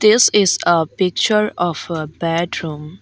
this is a picture of a bedroom.